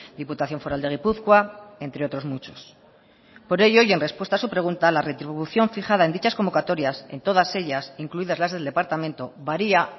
diputación foral de gipuzkoa entre otros muchos por ello y en respuesta a su pregunta la retribución fijada en dichas convocatorias en todas ellas incluidas las del departamento varía